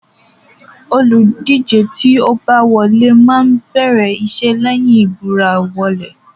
Olùdíje tí ó bá wọlé máa bẹ̀rẹ̀ iṣẹ́ lẹ́yìn ìbúra wọlé.